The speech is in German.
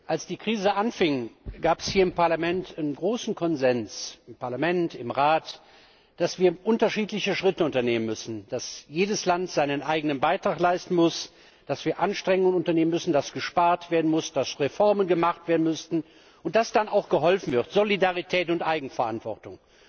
Als die Krise anfing, gab es hier im Parlament einen großen Konsens im Parlament, im Rat dass wir unterschiedliche Schritte unternehmen müssen, dass jedes Land seinen eigenen Beitrag leisten muss, dass wir Anstrengungen unternehmen müssen, dass gespart werden muss, dass Reformen gemacht werden müssen und dass dann auch geholfen wird Solidarität und Eigenverantwortung!